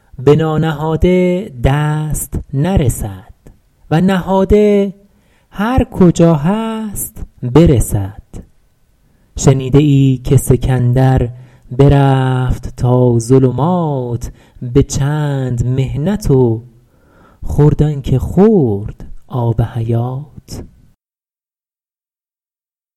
به نانهاده دست نرسد و نهاده هر کجا هست برسد شنیده ای که سکندر برفت تا ظلمات به چند محنت و خورد آن که خورد آب حیات